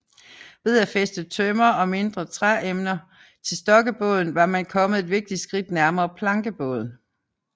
Ved at fæste tømmer og mindre træemner til stokkebåden var man kommet et vigtigt skridt nærmere plankebåden